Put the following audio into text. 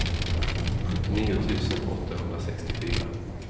sjuttionio tusen åttahundrasextiofyra